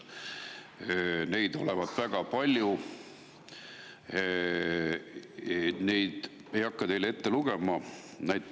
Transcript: Sotsiaalseid sugusid olevat väga palju, ma ei hakka neid teile ette lugema.